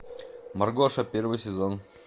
маргоша первый сезон